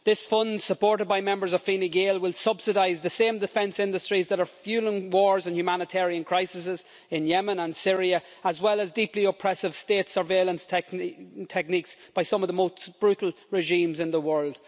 This fund, supported by members of Fine Gael, will subsidise the same defence industries that are fuelling wars and humanitarian crises in Yemen and Syria, as well as deeply oppressive state surveillance techniques by some of the most brutal regimes in the world.